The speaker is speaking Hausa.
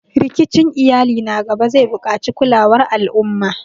Rikicin iyali na gaba zai buƙaci kulawar al'umma